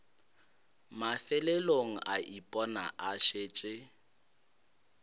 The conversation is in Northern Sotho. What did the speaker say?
mafelelong a ipona a šetše